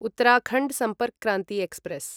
Uttarakhand Sampark Kranti express